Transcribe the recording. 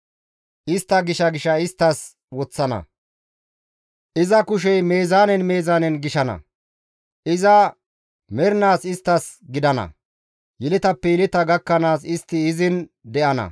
Istta gisha gisha isttas woththana; iza kushey meezaanen meezaanen gishana; iza mernaas isttas gidana; yeletappe yeleta gakkanaas istti izin de7ana.